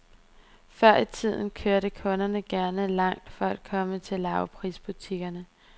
Før i tiden kørte kunderne gerne langt for at komme til lavprisbutikkerne.